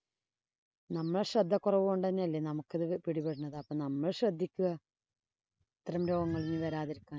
നമ്മടെ ശ്രദ്ധക്കുറവ് കൊണ്ടുതന്നെയല്ലേ നമുക്കിത് പിടിപെടണത്. നമ്മള്‍ ശ്രദ്ധിക്കുക. അത്തരം രോഗങ്ങള്‍ വരാതിരിക്കാന്‍.